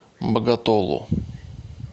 боготолу